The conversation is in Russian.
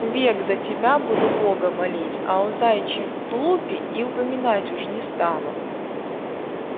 век за тебя буду бога молить а о заячьем тулупе и упоминать уж не стану